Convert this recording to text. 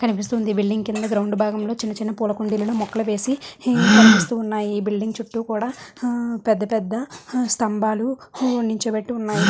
కనిపిస్తుంది బిల్డింగ్ కింద గ్రౌండ్ భాగం లో చిన్న చిన్న పులా కుండీలను మొక్కలు వేసి హమ్ కనిపిస్తూ ఉన్నాయి. ఈ బిల్డింగ్ కూడా హౌ పెద్ద-పెద్ద హ స్తంబాలు హు నిల్చోబెట్టి ఉన్నాయి.